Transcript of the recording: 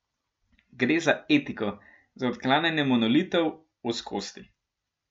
Gre za etiko, za odklanjanje monolitov, ozkosti.